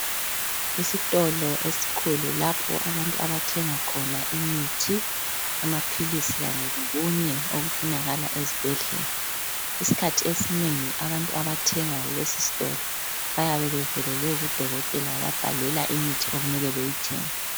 Isitolo esikhulu lapho abantu abathenga khona imithi, amaphilisi kanye lokunye okufunakala ezibhedlela isikhathi esinengi abantu abathenga kulesi sitolo bayabe bevelele kudokotela wababhalela imithi okumele beyithenge.